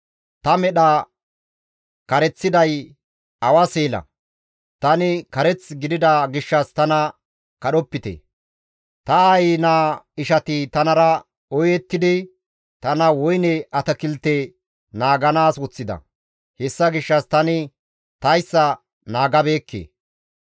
Ta medha kareththiday awa seela; tani kareth gidida gishshas tana kadhopite. Ta aayi naa ishati tanara ooyettidi tana woyne atakilte naaganaas woththida; hessa gishshas tani tayssa naagabeekke.